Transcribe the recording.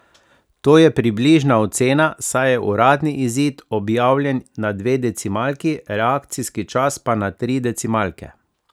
To je približna ocena, saj je uradni izid objavljen na dve decimalki, reakcijski čas pa na tri decimalke.